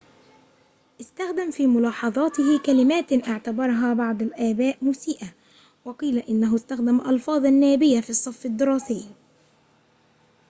استخدم في ملاحظاته كلماتٍ اعتبرها بعض الآباء مسيئة وقيل إنه استخدم ألفاظاً نابيةً في الصف الدراسي